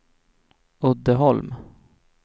Uddeholm